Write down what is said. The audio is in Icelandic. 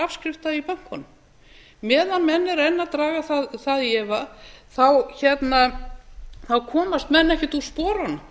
afskrifta í bönkunum meðan menn eru enn að draga það í efa komast menn ekkert úr sporunum